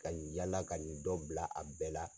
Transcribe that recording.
Ka yala ka nin dɔ bila a bɛɛ la